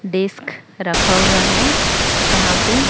desk रखा हुआ है जहां पे--